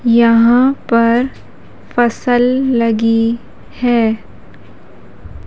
यहां पर फसल लगी है।